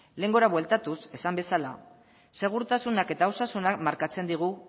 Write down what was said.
lehengora bueltatuz esan bezala segurtasunak eta osasunak markatzen digu